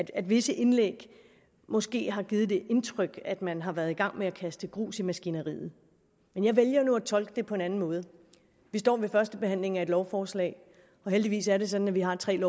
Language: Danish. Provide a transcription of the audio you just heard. at visse indlæg måske har givet det indtryk at man har været i gang med at kaste grus i maskineriet men jeg vælger nu at tolke det på en anden måde vi står ved førstebehandlingen af et lovforslag og heldigvis er det sådan at vi har tre